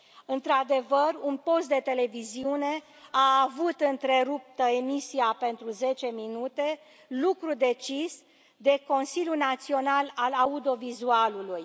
Într adevăr, un post de televiziune a avut întreruptă emisia pentru zece minute, lucru decis de Consiliul Național al Audiovizualului.